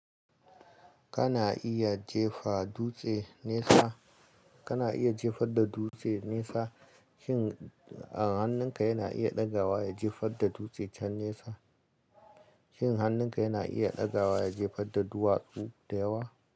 Kana iya jefa dutse nesa, kana iya jefar da dutse nesa, shin a hannunka yana iya ɗagawa ya jefar da dutse can nesa? Shin hannunka yana iya ɗagawa ya jefar da duwatsu da yawa?